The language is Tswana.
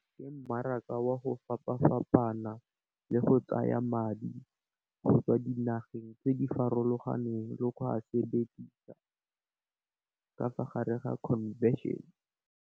Ke mmaraka wa go fapa fapana le go tsaya madi go tswa dinageng tse di farologaneng le go a sebedisa ka fa gare ga convention.